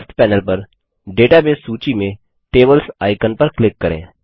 left panel पर database सूची में टेबल्स आइकन पर क्लिक करें